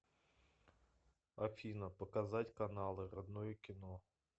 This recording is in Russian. афина показать каналы родное кино